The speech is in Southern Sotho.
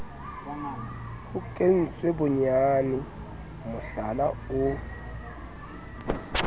ho kentswe bonyane mohlala o